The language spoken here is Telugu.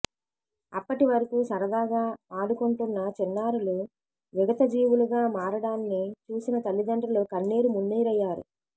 అప్పటి వరకు సరదాగా ఆడుకుంటున్న చిన్నారులు విగతజీవులుగా మారడాన్ని చూసిన తల్లిదండ్రులు కన్నీరుమున్నీరయ్యారు